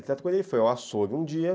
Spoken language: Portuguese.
Ele foi ao Açougue um dia.